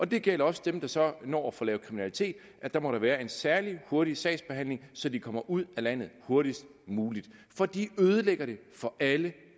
det gælder også dem der så når at få lavet kriminalitet der må der være en særlig hurtig sagsbehandling så de kommer ud af landet hurtigst muligt for de ødelægger det for alle